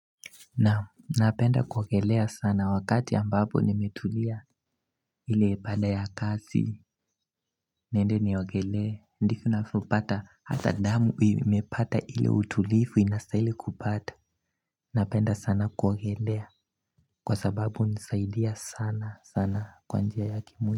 Naam napenda kuogelea sana wakati ambapo nimetulia ile baada ya kazi niende niogelee ndivyo navyopata hata damu imepata ile utulivu inastahili kupata Napenda sana kuogelea kwa sababu hunisaidia sana sana kwa njia ya kimwili.